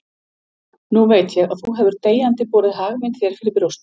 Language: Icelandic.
Nú veit ég að þú hefur deyjandi borið hag minn þér fyrir brjósti.